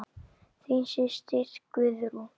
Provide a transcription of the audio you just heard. Þín systir, Guðrún.